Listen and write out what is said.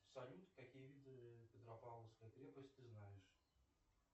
салют какие виды петропавловской крепости ты знаешь